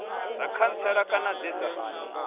dza khantsela kana dze dza